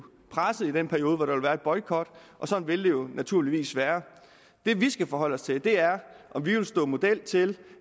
presset i den periode hvor der vil være en boykot og sådan vil det jo naturligvis være det vi skal forholde os til er om vi vil stå model til